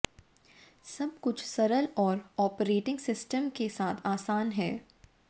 सब कुछ सरल और ऑपरेटिंग सिस्टम के साथ आसान है